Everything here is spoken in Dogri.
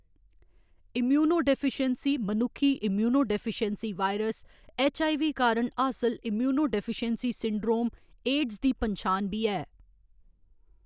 इम्यूनोडेफिशियेंसी मनुक्खी immunodeficiency virus, H. I. V. कारण हासल इम्यूनोडेफिशियेंसी सिंड्रोम, एड्स दी पन्छान बी ऐ।